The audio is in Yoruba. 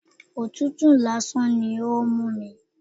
Òtútù lásán ni ó ń mú mi.